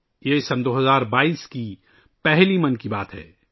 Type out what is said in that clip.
یہ 2022 ء کی پہلی ' من کی بات ' ہے